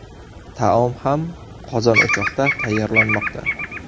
Taom ham qozon-o‘choqda tayyorlanmoqda.